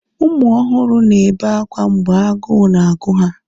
ụmụ ọhụrụ na-ebe akwa mgbe agụụ na-agụ ha